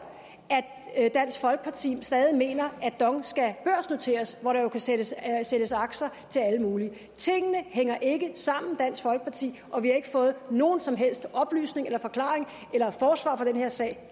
dansk folkeparti stadig mener at dong skal børsnoteres hvor der jo kan sælges sælges aktier til alle mulige tingene hænger ikke sammen dansk folkeparti og vi har ikke fået nogen som helst oplysninger eller forklaringer eller forsvar for den her sag